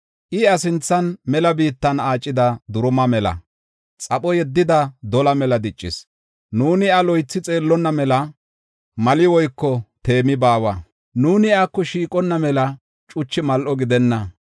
I iya sinthan mela biittan aacida duruma mela; xapho yeddida dola mela diccis. Nuuni iya loythi xeellonna mela mali woyko teemi baawa. Nuuni iyako shiiqonna mela cuchu mal7o gidenna.